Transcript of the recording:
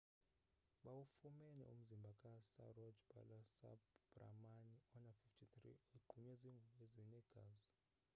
bawufumene umzimbha ka saroja balasubramanian ona-53 egqunywe ziingubo ezinegazi